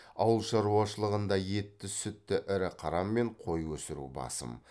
ауыл шаруалшылығында етті сүтті ірі қара мен қой өсіру басым